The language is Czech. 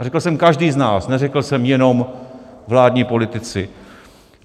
A řekl jsem každý z nás, neřekl jsem jenom vládní politici.